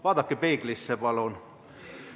Vaadake peeglisse, palun!